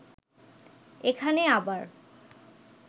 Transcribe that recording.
এখানে আবার